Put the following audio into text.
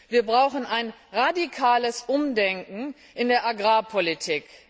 Wir brauchen ein radikales Umdenken in der Agrarpolitik.